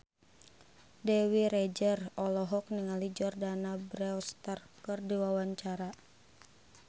Dewi Rezer olohok ningali Jordana Brewster keur diwawancara